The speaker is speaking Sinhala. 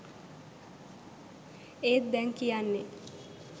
ඒත් දැන් කියන්නේ